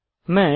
mesh